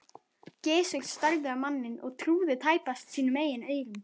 Gizur starði á manninn og trúði tæpast sínum eigin eyrum.